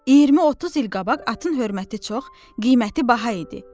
20-30 il qabaq atın hörməti çox, qiyməti baha idi.